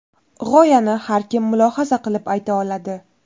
G‘oyani har kim mulohaza qilib ayta oladi.